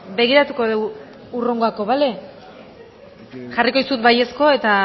beno begiratuko dugu hurrengorako jarriko dizut baiezkoa eta